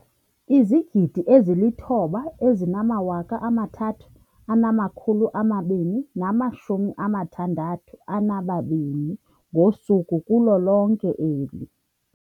9 032 622 ngosuku kulo lonke eli.